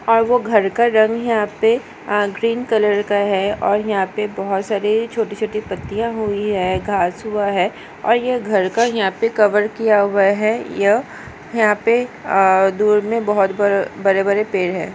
और वो घर का रंग यहाँ पे अ ग्रीन कलर का है और यहाँ पे बहुत सारे छोटी छोटी पत्तियां हुई है घास हुआ है और यह घर का यहां पे कवर किया हुआ है यह यहाँ पे अ दूर में बहुत ब बड़े बड़े पेड़ है।